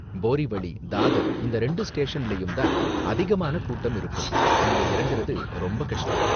போரிவளி, தாதர் இந்த ரெண்டு ஸ்டேஷன்லயும் தான் அதிகமான கூட்டம் இருக்கும், இங்க இறங்கறது ரொம்ப கஷ்டம்.